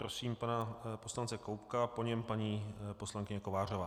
Prosím pana poslance Koubka, po něm paní poslankyně Kovářová.